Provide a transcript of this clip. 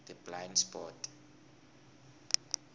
the blind spot